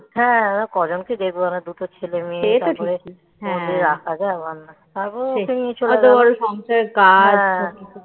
হ্যাঁ ওরা কজনকে দেখবো ওরা দুটো ছেলে মেয়ে তারমধ্যে রাখা যায় তারপরে ওদেরকে নিয়ে চলে গেল তারপরে সংসার কাজ